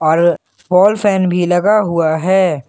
और wall fan भी लगा हुआ है।